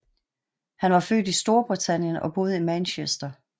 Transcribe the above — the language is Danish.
Han var født i Storbritannien og boede i Manchester